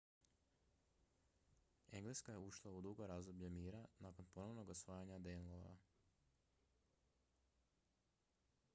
engleska je ušla u dugo razdoblje mira nakon ponovnog osvajanja danelawa